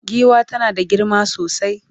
giwa tana da girma sosai